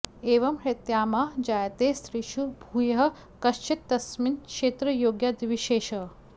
एवं ह्यात्मा जायते स्त्रीषु भूयः कश्चित् तस्मिन् क्षेत्रयोगाद्विशेषः